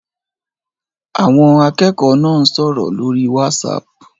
Àwọn akẹ́kọ̀ọ́ náà ń sọ̀rọ̀ lórí Whatsapp